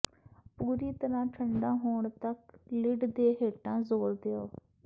ਪੂਰੀ ਤਰ੍ਹਾਂ ਠੰਢਾ ਹੋਣ ਤੱਕ ਲਿਡ ਦੇ ਹੇਠਾਂ ਜ਼ੋਰ ਦਿਓ